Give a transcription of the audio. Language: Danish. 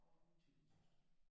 Og min tvillingesøster